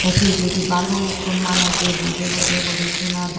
pijemdi balukko manuje boide boide guri sunadon.